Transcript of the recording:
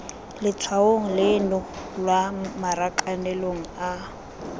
letshwaong leno lwa marakanelong a